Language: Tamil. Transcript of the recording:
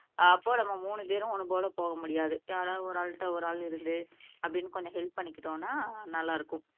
அப்போ நம்ம மூணுபேரும் ஒண்ணுபோல போகமுடியாது யாராவது ஒரு ஆள்கிட்ட ஒரு ஆள் இருந்து அப்படின்னு கொஞ்சம் ஹெல்ப் பண்ணிகிட்டோம்னா நல்லா இருக்கும்